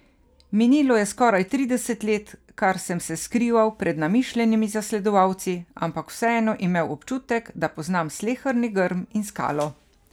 Minilo je skoraj trideset let kar sem se skrival pred namišljenimi zasledovalci, ampak vseeno imel občutek, da poznam sleherni grm in skalo.